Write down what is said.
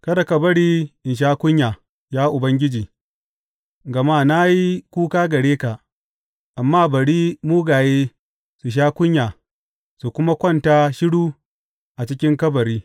Kada ka bari in sha kunya, ya Ubangiji, gama na yi kuka gare ka; amma bari mugaye su sha kunya su kuma kwanta shiru a cikin kabari.